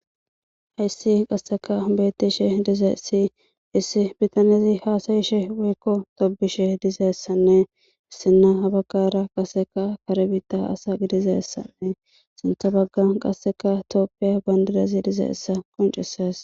hayssi qasseka hombettishe dizeessi issi bitanezi haasayishe woykko tobishe dizeessanne issinna habagara qaseka karebita asa gidizeessanne sintha baggan qasseka tooppiya bandidazi dizeessa qoncesees